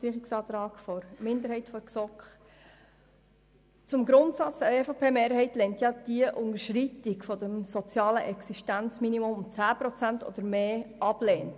Zum Antrag der GSoK-Minderheit I: Im Grundsatz lehnt die EVP die Unterschreitung des sozialen Existenzminimums um 10 Prozent oder mehr ab.